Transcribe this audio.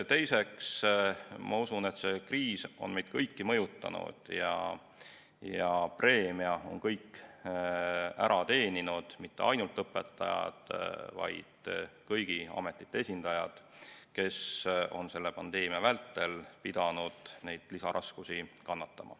Teiseks, ma usun, et see kriis on meid kõiki mõjutanud ja preemia on ära teeninud kõik, mitte ainult õpetajad, vaid kõigi ametite esindajad, kes on selle pandeemia vältel pidanud neid lisaraskusi kannatama.